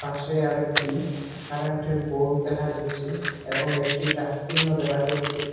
পাশে আরেকটি কারেন্টের বোর্ড দেখা যাচ্ছে এবং একটি ডাস্টবিনও দেখা যাচ্ছে।